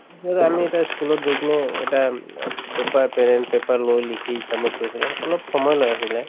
এতিয়া ধৰা আমি এটা ই school ত গৈ কিনেও এটা উম paper pen paper লৈ লিখি submit কৰিছিলো অলপ সময় লৈ আছিলে